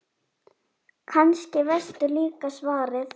Kannski veistu líka svarið.